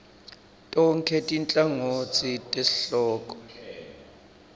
tonkhe tinhlangotsi tesihloko